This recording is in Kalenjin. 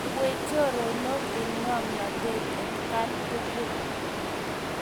Lewen choronok eng' ng'oamnotet atkaan tukul.